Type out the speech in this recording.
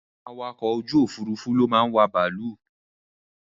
Àwọn awakọ̀ ojú òfúrúúfú ló máa ń wà bàálù